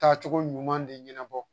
Taacogo ɲuman de ɲɛnabɔ